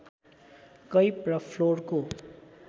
cap र फ्लोरको